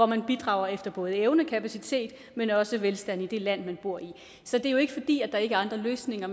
man bidrager efter både evne og kapacitet men også velstand i det land man bor i så det er jo ikke fordi der ikke er andre løsninger